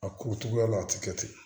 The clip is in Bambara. A ko cogoya la a tɛ kɛ ten